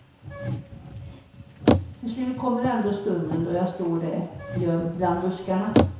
Till slut kommer ändå stunden då jag står där, gömd bland buskarna.